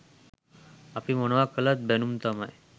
අපි මොනවා කළත් බැණුම් තමයි.